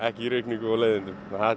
í rigningum og leiðindum